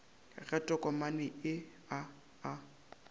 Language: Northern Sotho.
ga tokomane ye a a